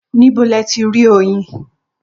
Ní bo lẹ tí rí oyin?